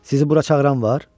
Sizi bura çağıran var?